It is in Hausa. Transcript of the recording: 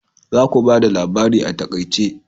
Za ku bada labarin a taƙaice.